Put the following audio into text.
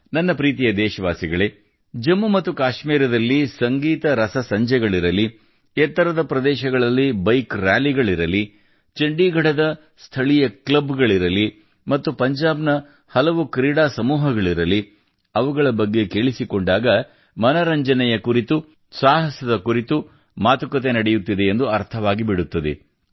ನನ್ನ ಪ್ರೀತಿಯ ದೇಶವಾಸಿಗಳೇ ಜಮ್ಮು ಮತ್ತು ಕಾಶ್ಮೀರದಲ್ಲಿ ಸಂಗೀತ ರಸಸಂಜೆಗಳಿರಲಿ ಎತ್ತರದ ಪ್ರದೇಶಗಳಲ್ಲಿ ಬೈಕ್ ರಾಲಿಗಳಿರಲಿ ಚಂಡೀಗಢದ ಸ್ಥಳೀಯ ಕ್ಲಬ್ ಗಳಿರಲಿ ಮತ್ತು ಪಂಜಾಬ್ ನ ಹಲವಾರು ಕ್ರೀಡಾ ಸಮೂಹಗಳಿರಲಿ ಅವುಗಳ ಬಗ್ಗೆ ಕೇಳಿಸಿಕೊಂಡಾಗ ಮನರಂಜನೆಯ ಕುರಿತು ಸಾಹಸ ಕುರಿತು ಮಾತುಕತೆ ನಡೆಯುತ್ತಿದೆ ಎಂದು ಅರ್ಥವಾಗಿಬಿಡುತ್ತದೆ